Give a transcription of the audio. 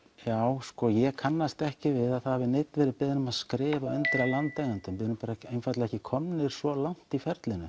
já sko ég kannast ekki við að það hafi neinn verið beðinn um að skrifa undir af landeigendum við erum einfaldlega ekki komnir svo langt í ferlinu